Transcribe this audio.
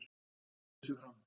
Einn bauð sig fram